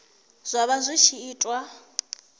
zwa vha zwi tshi itiwa